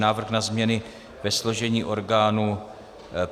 Návrh na změny ve složení orgánů